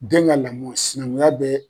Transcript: Den ka lamɔ sinankunya bɛ